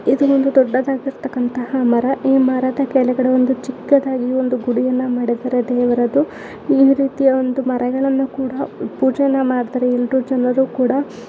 ಇದು ಒಂದು ದೊಡ್ಡದಾದಂತಹ ಮರ. ಈ ಮರದ ಕೆಳಗಡೆ ಒಂದು ಚಿಕ್ಕದಾಗಿ ಒಂದು ಗುಡಿಯನ್ನು ಮಾಡಿದ್ದಾರೆ ದೇವರದು. ಈ ರೀತಿಯ ಒಂದು ಮರಗಳನ್ನು ಕೂಡ ಪೂಜೆ ಮಾಡ್ತಾರೆ ಎಲ್ಲರು. ಜನರು ಕೂಡ--